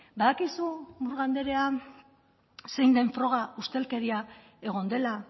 badakizu murga andrea zein den froga ustelkeria egon dela